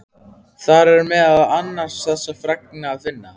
Þar er meðal annars þessa fregn að finna